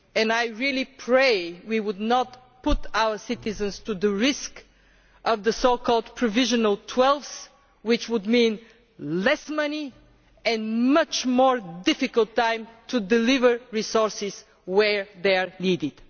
I pray we will not put our citizens at risk of the so called provisional twelfths, which would mean less money and a much more difficult time in delivering resources where they are needed.